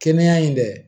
Kɛnɛya in dɛ